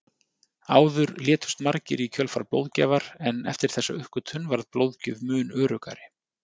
Áður létust margir í kjölfar blóðgjafar en eftir þessa uppgötvun varð blóðgjöf mun öruggari.